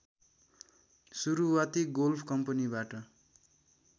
सुरुवाती गोल्फ कम्पनीबाट